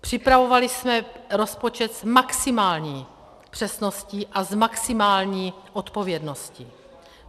Připravovali jsme rozpočet s maximální přesností a s maximální odpovědností.